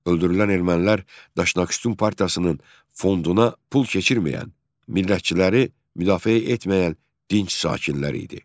Öldürülən ermənilər Daşnaksutyun Partiyasının fonduna pul keçirməyən, millətçiləri müdafiə etməyən dinc sakinlər idi.